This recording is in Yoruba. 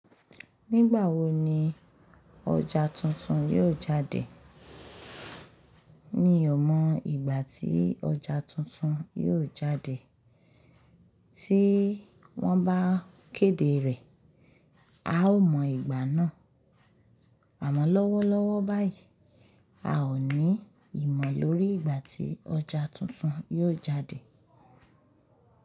Nígbà wo ni ọjà tuntun yóò jáde? Mì o mọ ìgbà tí ọjà tuntun yóò jáde, tí wọ́n bá kéde rẹ̀, a ó mọ ìgbà náà. Àmọ́ lọ́wọ́lọ́wọ́ báyìí, a ò ní ìmọ̀ lórí ìgbà tí ọjà tuntun yóò jáde.